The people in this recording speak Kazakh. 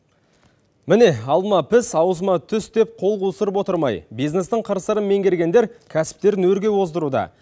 міне алма піс аузыма түс деп қол қусырып отырмай бизнестің қыр сырын меңгергендер кәсіптерін өрге оздыруда